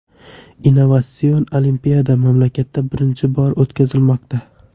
Innovatsion olimpiada mamlakatda birinchi bor o‘tkazilmoqda.